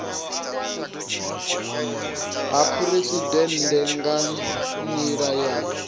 ha phuresidennde nga nila ya